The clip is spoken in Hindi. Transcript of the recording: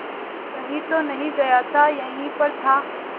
कहीं तो नहीं गया था यहीं पर था